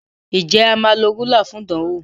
Nje a má ló Rúlà fún ìdánwò?